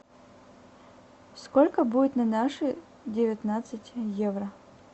сколько будет на наши девятнадцать евро